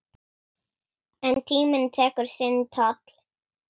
En tíminn tekur sinn toll.